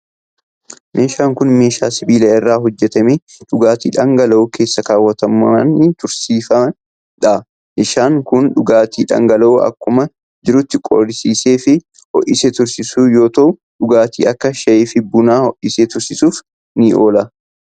Meeshaan kun, meeshaa sibiila irraa hojjatame dhugaatii dhangala'oo keessa kaawwatanii tursiisanii dha. Meeshaan kun, dhugaatii dhangala'oo akkuma jirutti qorrisiisee fi ho'isee tursiisu yoo ta'u, dhugaatii akka shaayii fi bunnaa ho'isee tursiisuuf ni oola.